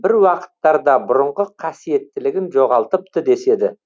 бір уақыттарда бұрынғы қасиеттілігін жоғалтыпты деседі